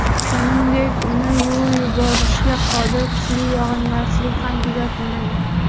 Shuningdek, uni yuvib yuborishga qodir kuchli yog‘ingarchilik ham kuzatilmagan.